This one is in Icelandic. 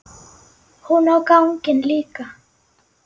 Hún á ganginn líka.